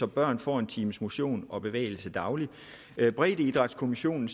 børn får en times motion og bevægelse dagligt breddeidrætskommissionen